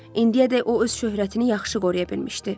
İndiyəcək o öz şöhrətini yaxşı qoruya bilmişdi.